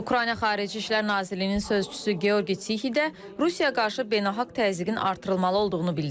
Ukrayna Xarici İşlər Nazirliyinin sözçüsü Georgi Tsixi də Rusiyaya qarşı beynəlxalq təzyiqin artırılmalı olduğunu bildirib.